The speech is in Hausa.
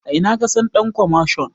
A ina ka san ɗan kwamashon?